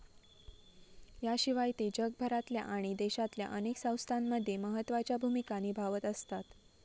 याशिवाय ते जगभरातल्या आणि देशातल्या अनेक संस्थांमध्ये महत्वाच्या भूमिका निभावत असतात.